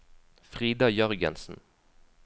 Frida Jørgensen